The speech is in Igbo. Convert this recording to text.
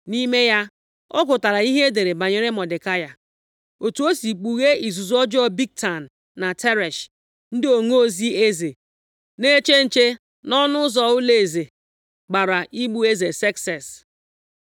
Nʼime ya, ọ gụtara ihe e dere banyere Mọdekai, otu o si kpughee izuzu ọjọọ Bigtan na Teresh, ndị onozi eze na-eche nche nʼọnụ ụzọ ụlọeze, gbara igbu eze Sekses.